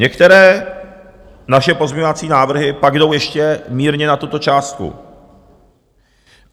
Některé naše pozměňovací návrhy pak jdou ještě mírně nad tuto částku.